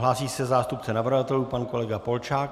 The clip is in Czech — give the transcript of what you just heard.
Hlásí se zástupce navrhovatelů pan kolega Polčák.